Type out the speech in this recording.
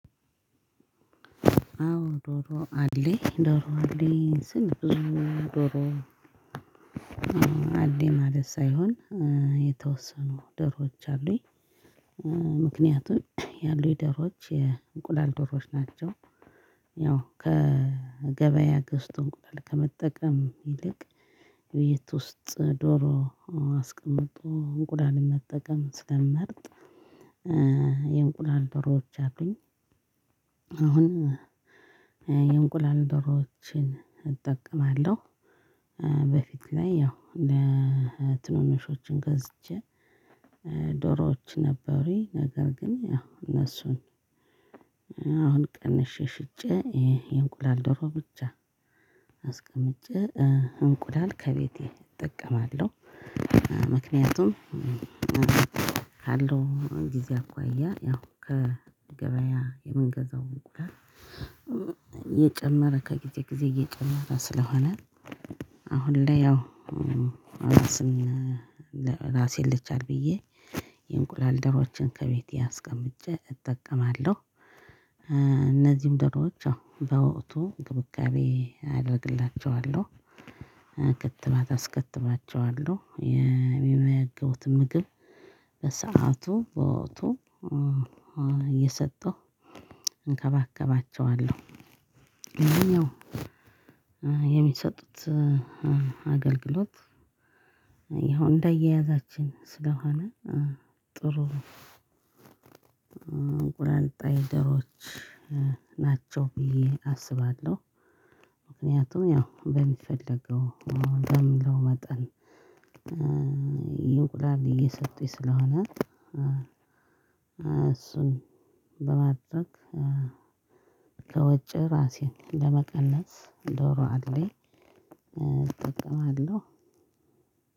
አዎን ዶሮ አለኝ ዶሮ አለኝ ስል ብዙ ዶሮ አለኝ ማለት ሳይሆን የተወሰኑ ዶሮዎች አሉኝ ያሉኝ ዶሮዎች የእንቁላል ዶሮዎች ናቸው። ያው ከገበያ ገዝቶ እንቁላል ከመጠቀም ይልቅ ቤት ውስጥ ዶሮ አስቀምጦ እንቁላልን መጠቀም ስለምመረጥ። የእንቁላል ዶሮዎች አሉኝ። አሁን የእንቁላል ዶሮዎችን እጠቀማለሁ። በፊት ላይ ያው ለትንንሾችም ገዝቼ ዶሮዎች ነበሩኝ ነገር ግን እነሱን አሁን ቀንሼ ሽጬ የእንቁላል ዶሮ ብቻ አስቀምጬ እንቁላል ከቤቴ እጠቀማለሁ። ምክንያቱም ካለው ጊዜ አኳያ ያው ከገበያ የምገዛው እንቁላል እየጨመረ ከጊዜ ጊዜ እየጨመረ ስለሆነ። አሁን ላይ ያው ራስን ራሴን ልቻል ብዬ የእንቁላል ዶሮዎችን ከቤቴ አስቀምጬ እጠቀማለሁ። እነዚህም ደሮዎች አዎ በወቅቱ እንክብካቤ አደርግላቸዋለሁ ክትባት አስከትባቸዋለሁ የሚመገቡትን ምግብ በሰአቱ በወቅቱ እየሰጠሁ እንከባከባቸዋለሁ። የሚሰጡት አገልግሎት ይኸው እንደያያዛችን ስለሆነ ጥሩ እንቁላል ጣይ ዶሮዎች ናቸው ብዬ አስባለሁ። ምክንያቱም ያው በሚፈለገው በሚለው መጠን እንቁላል እየሰጡኝ ስለሆነ እሱን በማቅረብ ከወጪ ራሴን ለመቀነስ ዶሮ አለኝ። እጠቀማለው።